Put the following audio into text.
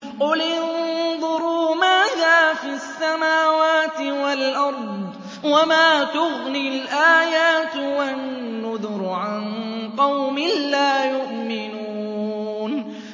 قُلِ انظُرُوا مَاذَا فِي السَّمَاوَاتِ وَالْأَرْضِ ۚ وَمَا تُغْنِي الْآيَاتُ وَالنُّذُرُ عَن قَوْمٍ لَّا يُؤْمِنُونَ